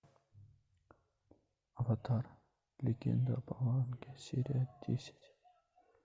аватар легенда об аанге серия десять